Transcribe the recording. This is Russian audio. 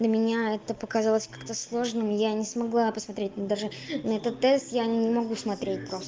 для меня это показалось как-то сложно я не смогла посмотреть даже на этот тест я не могу смотреть просто